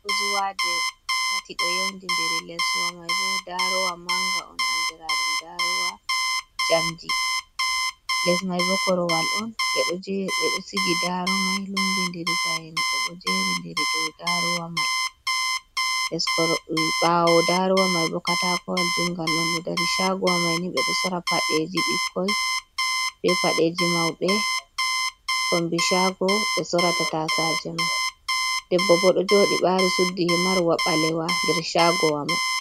Boozuwaaje tati ɗo yawndinderi, les wa may bo daarowa mannga on, anndiraaɗum daarowa njamndi, les may bo korowal on, ɓe ɗo sigi daaro may lumbindiri, payanɗe bo jeri nder ɗo lummbindiri, nder daarowa may bo katakoowal juunngal on eo dari, caagowa may ni ɓe ɗo soora paɗeeji ɓikkoy, be paɗeeji mawɓe, kombi caago ɓe soorata taasaaje may, debbo bo ɗo jooɗi ɓaari, suddi himarwa ɓaleewa nder caagowa may.